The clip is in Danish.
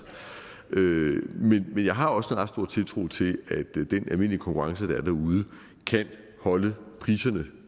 men jeg har også en ret stor tiltro til at den almindelige konkurrence der er derude kan holde priserne